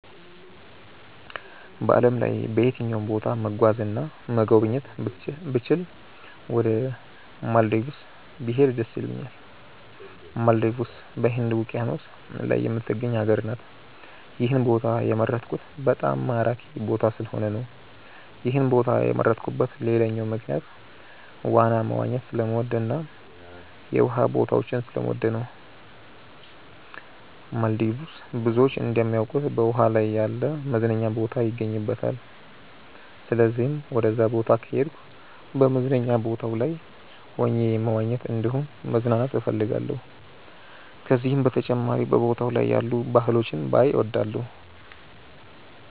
በዓለም ላይ በየትኛውም ቦታ መጓዝ እና መጎብኘት ብችል ወደ ማልዲቭስ ብሄድ ደስ ይለኛል። ማልዲቭስ በህንድ ውቂያኖስ ላይ የምትገኝ ሀገር ናት። ይህን ቦታ የመረጥኩት በጣም ማራኪ ቦታ ስለሆነ ነው። ይህን ቦታ የመረጥኩበት ሌላኛው ምክንያት ዋና መዋኘት ስለምወድ እና የውሃ ቦታዎችን ስለምወድ ነው። ማልዲቭስ ብዙዎች እንደሚያውቁት በውሃ ላይ ያለ መዝናኛ ቦታ ይገኝባታል። ስለዚህም ወደዛ ቦታ ከሄድኩ በመዝናኛ ቦታው ላይ ሆኜ መዋኘት እንዲሁም መዝናናት እፈልጋለሁ። ከዚህም በተጨማሪ በቦታው ላይ ያሉ ባህሎችን ባይ እወዳለሁ።